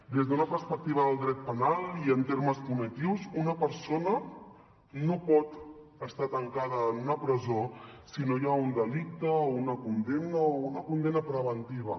des d’una perspectiva del dret penal i en termes punitius una persona no pot estar tancada en una presó si no hi ha un delicte o una condemna o una condemna preventiva